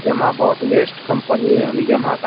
Yamaha बहुत best company हैं ये अभी यामाहा का --